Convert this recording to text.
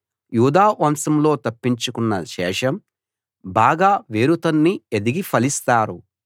యూదా వంశంలో తప్పించుకొన్న శేషం బాగా వేరుతన్ని ఎదిగి ఫలిస్తారు